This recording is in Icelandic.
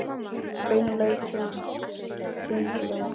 Beina leið til tunglsins.